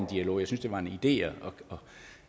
dialog jeg synes det var en idé at